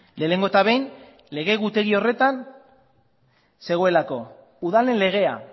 lehenengo eta behin lege egutegi horretan zegoelako udalen legea